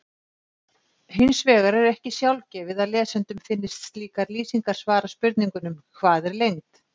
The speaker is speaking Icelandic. Hins vegar er ekki sjálfgefið að lesendum finnist slíkar lýsingar svara spurningunum Hvað er lengd?